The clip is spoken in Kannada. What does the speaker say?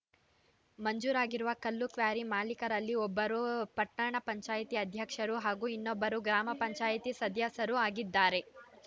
ಮಂಜೂರಾಗಿರುವ ಕಲ್ಲು ಕ್ವಾರಿ ಮಾಲೀಕರಲ್ಲಿ ಒಬ್ಬರು ಪಟ್ಟಣ ಪಂಚಾಯತಿ ಅಧ್ಯಕ್ಷರು ಹಾಗೂ ಇನ್ನೊಬ್ಬರು ಗ್ರಾಮ ಪಂಚಾಯತಿ ಸದಸ್ಯರು ಆಗಿದ್ದಾರೆ